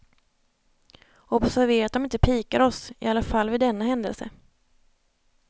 Observera att de inte pikar oss, i alla fall vid denna händelse.